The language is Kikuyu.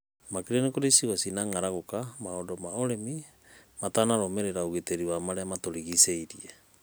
makĩria kũrĩ icigo irĩa cina ng'araguka maũndũ wa ũrĩmi matararũmĩrĩra ũgitĩri wa marĩa matũrigicĩirie.